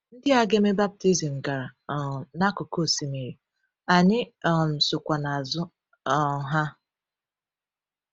Ndị a ga-eme baptizim gara um n’akụkụ osimiri, anyị um sokwa n’azụ um ha.